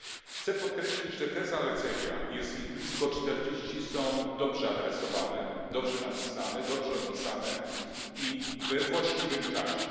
Chcę podkreślić, że te zalecenia jest ich blisko czterdzieści są dobrze adresowane, dobrze napisane, dobrze opisane i we właściwym czasie.